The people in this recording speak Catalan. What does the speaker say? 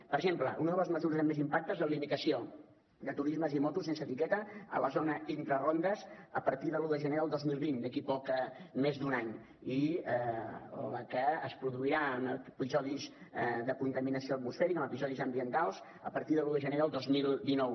per exemple una de les mesures amb més impacte és la limitació de turismes i motos sense etiqueta a la zona intrarondes a partir de l’un de gener del dos mil vint d’aquí poc més d’un any i també la que es produirà en episodis de contaminació atmosfèrica en episodis ambientals a partir de l’un de gener del dos mil dinou